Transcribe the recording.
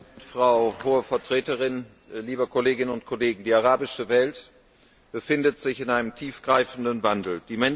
Herr Präsident, Frau Hohe Vertreterin, liebe Kolleginnen und Kollegen! Die arabische Welt befindet sich in einem tiefgreifenden Wandel.